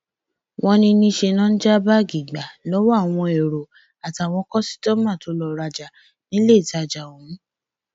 wọn ní níṣẹ ni wọn ń já báàgì gbà lọwọ àwọn èrò àtàwọn kọsítọmà tó lọọ rajà níléetajà ọhún